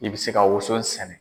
I bɛ se ka woson sɛnɛ.